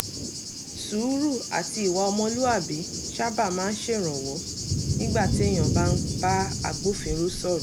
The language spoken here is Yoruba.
sùúrù àti ìwà ọmọlúwàbí sábà máa ń ṣèrànwọ́ nígbà téèyàn bá ń bá agbófinró sọ̀rọ̀